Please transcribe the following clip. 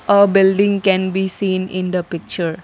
A building can be seen in the picture.